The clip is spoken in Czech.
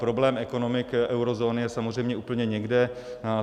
Problém ekonomik eurozóny je samozřejmě úplně někde.